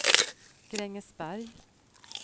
Grängesberg